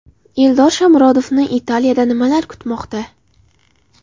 Eldor Shomurodovni Italiyada nimalar kutmoqda?.